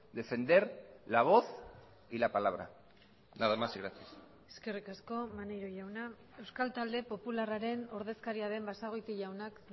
defender la voz y la palabra nada más y gracias eskerrik asko maneiro jauna euskal talde popularraren ordezkaria den basagoiti jaunak